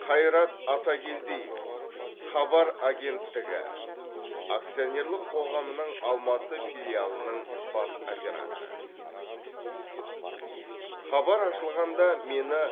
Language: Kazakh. қайрат атакелдиев хабар агенттігі акционерлік қоғамының алматы филиалының бас операторы хабар ашылғанда мені